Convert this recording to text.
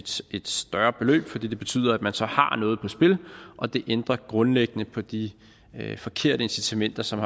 et større beløb for det betyder at man så har noget på spil og det ændrer grundlæggende på de forkerte incitamenter som